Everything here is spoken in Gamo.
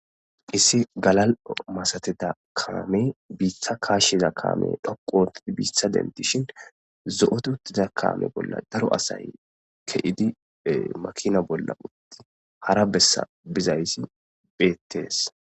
issi galal masateda kaame biitha kaashsheza kaame dhoquotidi biitha denti shin zo7ote uttiza kaame bolla daro asay keidi makina bolla utti hara bessa bizaysi beettees